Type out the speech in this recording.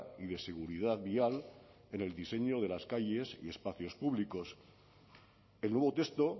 y de seguridad vial en el diseño de las calles y espacios públicos el nuevo texto